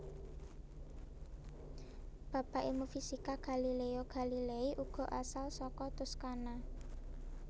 Bapak ilmu fisika Galileo Galilei uga asal saka Toscana